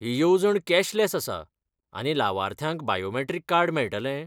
ही येवजण कॅशलॅस आसा, आनी लावार्थ्यांक बायोमॅट्रीक कार्ड मेळटलें?